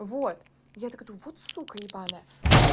вот я такая думаю вот сука ебаная